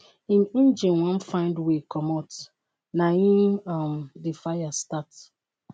im engine wan find way comot naim um di fire start.